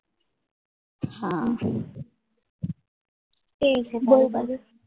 હા